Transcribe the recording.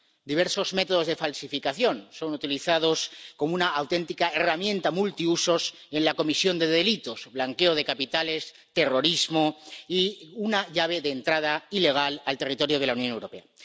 Diversos métodos de falsificación son utilizados como una auténtica herramienta multiusos en la comisión de delitos —blanqueo de capitales, terrorismo— y una llave de entrada ilegal al territorio de la Unión Europea.